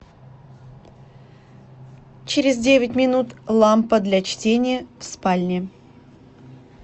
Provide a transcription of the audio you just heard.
через девять минут лампа для чтения в спальне